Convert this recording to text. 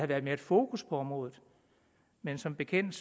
været mere fokus på området men som bekendt